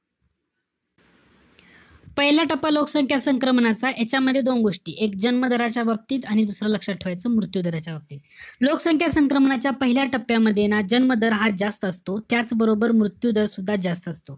पहिला टप्पा लोकसंख्या संक्रमणाचा, यांच्यामध्ये दोन गोष्टी. एक, जन्म दराच्या बाबतीत. आणि दुसरं लक्षात ठेवायचं, मृत्यू दराच्या बाबतीत. लोकसंख्या संक्रमणाच्या पहिल्या टप्प्यामध्ये ना, जन्म दर हा जास्त असतो. त्याचबरोबर, मृत्यू दर सुद्धा जास्त असतो.